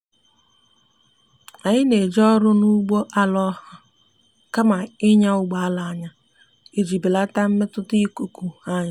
anyi na eje ọrụ na ụgbọ ala oha kama inya ụgbọ ala anya iji belata mmetụta ikuku anyi